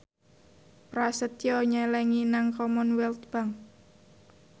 Prasetyo nyelengi nang Commonwealth Bank